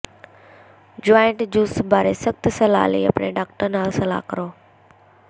joint juice ਬਾਰੇ ਸਖ਼ਤ ਸਲਾਹ ਲਈ ਆਪਣੇ ਡਾਕਟਰ ਨਾਲ ਸਲਾਹ ਕਰੋ